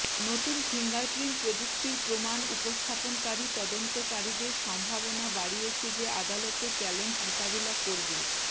নতুন ফিঙ্গারপ্রিন্ট প্রযুক্তির প্রমাণ উপস্থাপনকারী তদন্তকারীদের সম্ভাবনা বাড়িয়েছে যে আদালতে চ্যালেঞ্জ মোকাবেলা করবে